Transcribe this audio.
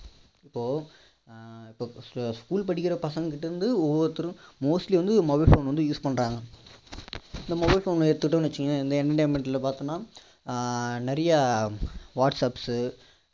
இபோ ஆஹ் இப்போ school படிக்கிற பசங்க கிட்ட இருந்து ஒவ்வொருத்தரும் mostle வந்து mobile phones வந்து use பண்றாங்க நம்ம எடுத்துக்கிடோம்னு வச்சிக்கோங்களேன் இந்த inetrnet ல பார்த்தோம்னா நிறைய whatsapp சு